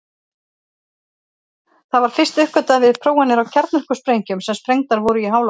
Það var fyrst uppgötvað við prófanir á kjarnorkusprengjum sem sprengdar voru í háloftum.